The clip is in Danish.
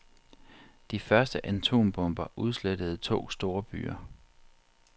De første atombomber udslettede to storbyer.